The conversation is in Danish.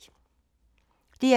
DR2